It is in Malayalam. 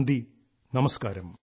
നന്ദി നമസ്കാരം